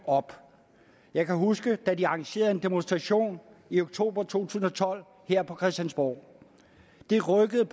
op jeg kan huske da de arrangerede en demonstration i oktober to tusind og tolv her på christiansborg det rykkede